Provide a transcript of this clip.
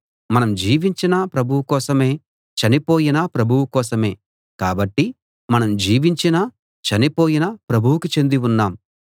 మనం జీవించినా ప్రభువు కోసమే చనిపోయినా ప్రభువు కోసమే కాబట్టి మనం జీవించినా చనిపోయినా ప్రభువుకే చెంది ఉన్నాం